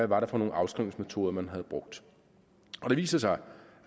var for nogle afskrivningsmetoder man havde brugt og det viser sig